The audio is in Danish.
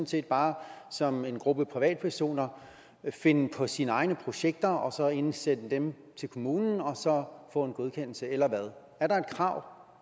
set bare som en gruppe privatpersoner finde på sine egne projekter og så indsende dem til kommunen og så få en godkendelse eller hvad er der et krav